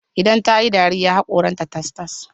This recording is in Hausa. Idan tayi dariya, haƙoran ta tas-tas